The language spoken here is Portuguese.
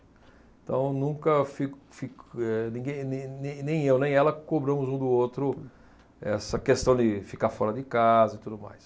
Então, nunca, fico, fico, eh, ninguém, nem, nem, nem eu, nem ela, cobramos um do outro essa questão de ficar fora de casa e tudo mais.